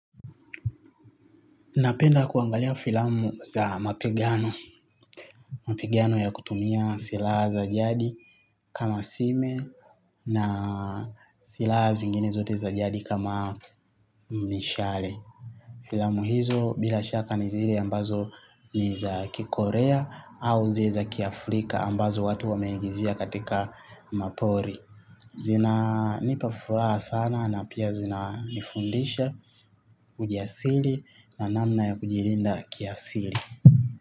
Napenda kuangalia filamu za mapigano. Mapigano ya kutumia silaha za jadi kama sime na silaha zingine zote za jadi kama mishale. Filamu hizo bila shaka ni zile ambazo ni za kikorea au zile za kiafrika ambazo watu wameagizia katika mapori. Zinanipa furaha sana na pia zinanifundisha ujasiri na namna ya kujilinda kiasili.